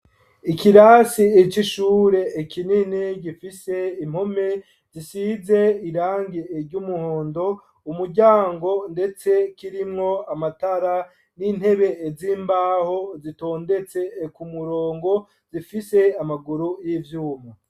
Ikirasi c'ishure ikinini gifise impume zisize irangi ry'umuhondo umuryango ndetse kirimwo amatara n'intebe z'imbaho zitondetse ku murongo zifise amaguru y'ivyuma.